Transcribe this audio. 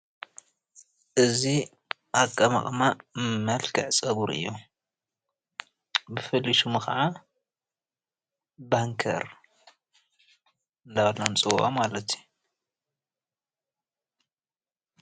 እዚ ኣቀማቅማ መልክዕ ፀጉሪ እዩ፡፡ ብፍሉይ ስሙ ከዓ ባንከር እንዳተበልና ንፅወዖ ማለት እዩ፡፡